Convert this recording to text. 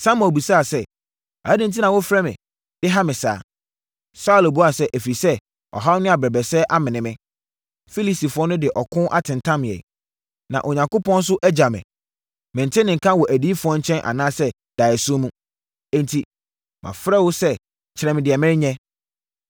Samuel bisaa sɛ, “Adɛn enti na wofrɛ me de ha me saa?” Saulo buaa sɛ, “Ɛfiri sɛ, ɔhaw ne abɛbrɛsɛ amene me. Filistifoɔ de ɔko atentam yɛn. Na Onyankopɔn nso agya me. Mente ne nka wɔ adiyifoɔ nkyɛn anaa daeɛso mu. Enti, mafrɛ wo sɛ kyerɛ me deɛ menyɛ.”